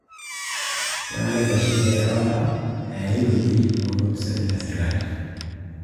Kang'ae naitasheki erawate ee ai weuji oolopisaani le sirkali?